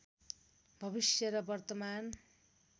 भविष्य र वर्तमान